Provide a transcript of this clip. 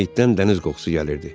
Meyitdən dəniz qoxusu gəlirdi.